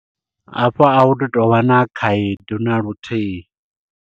Hafho ahu tu tovha na khaedu naluthihi.